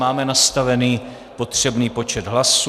Máme nastavený potřebný počet hlasů.